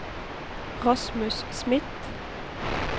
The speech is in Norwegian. Rasmus Smith